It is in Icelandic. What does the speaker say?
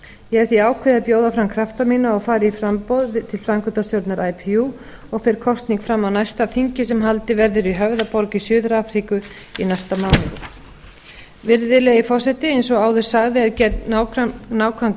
ég hef því ákveðið að bjóða fram krafta mína og fara í framboð til framkvæmdastjórnar ipu og fer kosning fram á næsta þingi sem haldið verður í höfðaborg í suður afríku í næsta mánuði virðulegi forseti eins og áður sagði er gerð nákvæm